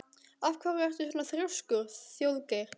Af hverju ertu svona þrjóskur, Þjóðgeir?